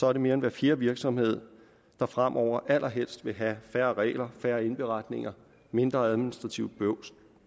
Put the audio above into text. er det mere end hver fjerde virksomhed der fremover allerhelst vil have færre regler færre indberetninger mindre administrativt bøvl